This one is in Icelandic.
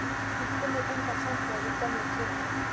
Og hún finnur engan samhljóm í gömlum tíma.